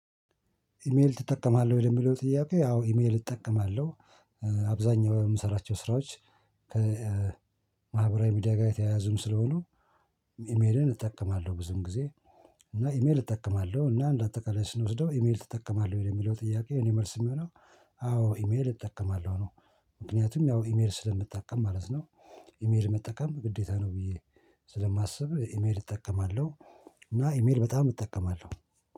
ኢሜል ትጠቀማለህ ወይ የሚለው ጥያቄ? ያው ኢሜል እጠቀማለሁ። አብዛኛው የምሰራቸው ስራዎች ከ ከማህበራዊ ሚዲያ ጋር የተያያዙም ስለሆነ። ኢሜሌን እጠቀማለሁ ብዙም ጊዜ እና ኢሜል እጠቀማለሁ እና እንደ አጠቃላይ ስንወስደው ኢሜል እጠቀማለሁ ወይ የሚለው ጥያቄ እኔ መልስ የሚሆነው አዎ ኢሜል እጠቀማለሁ ነው። ምክንያቱም ያው ኢሜል ስለምጠቀም ማለት ነው። ኢሜል መጠቀም ግዴታ ነው ብዬ ስለማስብ ኢሜል እጠቀማለሁ። እና ኢሜል በጣም እጠቀማለሁ